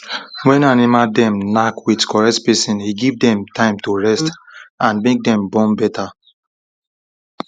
when animal dem knack with correct spacing e give dem time to rest and make dem born better